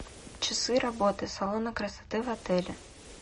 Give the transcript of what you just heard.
часы работы салона красоты в отеле